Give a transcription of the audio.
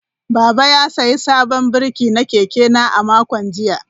Baba ya sayi sabon birki na keke na a makon jiya.